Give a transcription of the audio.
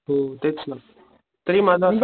हो तेच ना तरी माझा असा